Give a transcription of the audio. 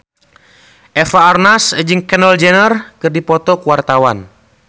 Eva Arnaz jeung Kendall Jenner keur dipoto ku wartawan